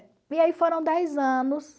E aí foram dez anos...